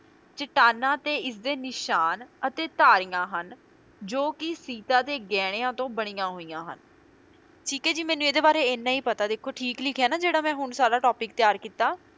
ਚੱਟਾਨਾਂ ਤੇ ਇਸਦੇ ਨਿਸ਼ਾਨ ਅਤੇ ਧਾਰੀਆਂ ਹਨ ਜੋ ਕੇ ਸੀਤਾ ਦੇ ਗਹਿਣਿਆਂ ਤੋਂ ਬਣੀਆਂ ਹੋਈਆਂ ਹਨ, ਠੀਕ ਹੈ ਜੇ ਮੈਨੂੰ ਇਹਦੇ ਬਾਰੇ ਇਹਨਾਂ ਹੀ ਪਤਾ ਦੇਖੋ ਠੀਕ ਲਿਖਿਆ ਨਾ ਜਿਹੜਾ ਮੈਂ ਹੁਣ ਸਾਰਾ topic ਤਿਆਰ ਕੀਤਾ।